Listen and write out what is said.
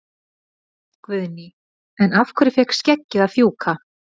Guðný: En af hverju fékk skeggið að fjúka?